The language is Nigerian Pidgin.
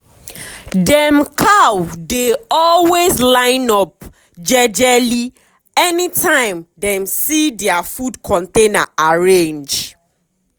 dem cow dey always line up jejely anytime dem see dia food container arrange.